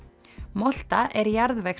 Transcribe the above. molta er